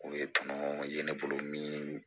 O ye tɔnɔ ye ne bolo min